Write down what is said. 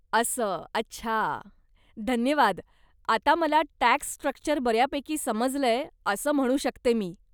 अस्स, अच्छा, धन्यवाद, आता मला टॅक्स स्ट्रक्चर बऱ्यापैकी समजलंय असं म्हणू शकते मी.